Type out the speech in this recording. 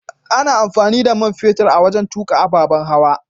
Ana amfani da man fetur wajen tukka ababan hawa.